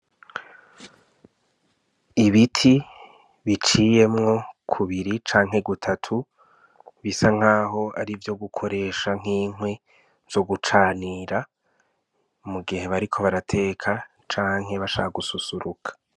Ibiti biciyemwo kubiri canke gutatu bisa nkaho arivyo gukoresha nk'inkwi canke ivyo gucanira mu gihe bariko barateka canke bashaka gususuruka.